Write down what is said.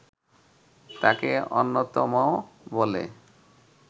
তাকে অন্যতম বলে